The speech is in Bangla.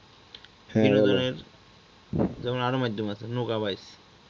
বিনোদনের যেমন আরো মাধ্যম যেমন আছে নৌকা বাইছে